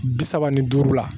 Bi saba ni duuru la